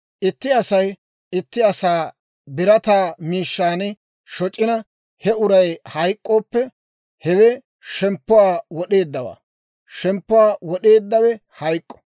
« ‹Itti Asay itti asaa birataa miishshaan shoc'ina, he uray hayk'k'ooppe, hewe shemppuwaa wod'eeddawaa; shemppuwaa wod'eeddawe hayk'k'o.